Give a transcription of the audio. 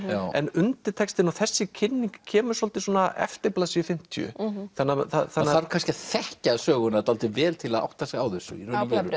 en undirtextinn og þessi kynning kemur svolítið eftir blaðsíðu fimmtíu maður þarf kannski að þekkja söguna dálítið vel til að átta sig á þessu já